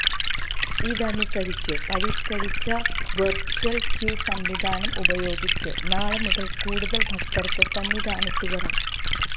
ഇതനുസരിച്ച് പരിഷ്കരിച്ച virtual queue സംവിധാനം ഉപയോഗിച്ച് നാളെ മുതൽ കൂടുതൽ ഭക്തർക്ക് സന്നിധാനത്ത് വരാം